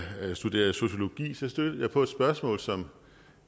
da jeg studerede sociologi stødte jeg på et spørgsmål som